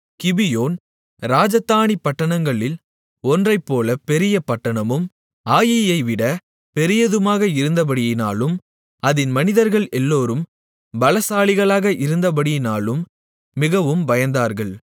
கிபியோன் ராஜதானி பட்டணங்களில் ஒன்றைப்போல பெரிய பட்டணமும் ஆயீயைவிட பெரியதுமாக இருந்தபடியினாலும் அதின் மனிதர்கள் எல்லோரும் பலசாலிகளாக இருந்தபடியினாலும் மிகவும் பயந்தார்கள்